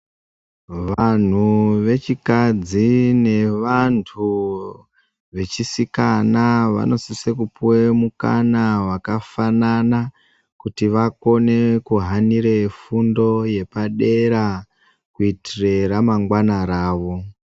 Vanhu vechikadzi nevantu vechisikana vavisise kupuwe mukana wakafanana kuti vakone kuhanire fundo yepadera kuitire ramangwana ravo.